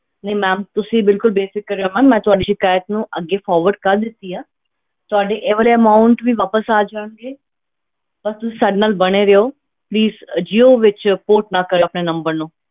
ਨਹੀਂ ma'am ਤੁਸੀਂ ਬਿਲਕੁਲ ਬੇਫ਼ਿਕਰ ਰਹੋ ma'am ਮੈਂ ਤੁਹਾਡੀ ਸਿਕਾਇਤ ਨੂੰ ਅੱਗੇ forward ਕਰ ਦਿੱਤੀ ਹੈ ਤੁਹਾਡੀ ਇਹ ਵਾਲੀ amount ਵੀ ਵਾਪਸ ਆ ਜਾਣਗੇ, ਬਸ ਤੁਸੀਂ ਸਾਡੇ ਨਾਲ ਬਣੇ ਰਹਿਓ please ਜੀਓ ਵਿੱਚ port ਨਾ ਕਰਿਓ ਆਪਣੇ number ਨੂੰ।